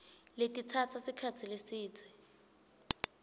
letitsatsa sikhatsi lesidze